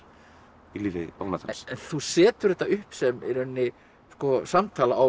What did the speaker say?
í lífi þú setur þetta upp sem samtal á